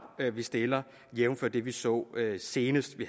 vi stiller jævnfør det vi så senest vi